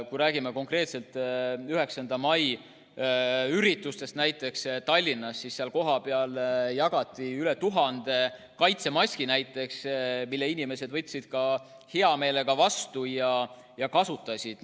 Kui me räägime konkreetselt 9. mai üritustest näiteks Tallinnas, siis kohapeal jagati üle 1000 kaitsemaski, mille inimesed võtsid ka hea meelega vastu ja kasutasid neid.